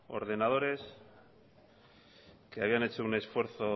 ordenadores que habían hecho un esfuerzo